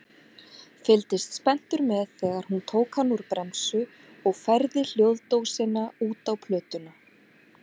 Fylgdist spenntur með þegar hún tók hann úr bremsu og færði hljóðdósina út á plötuna.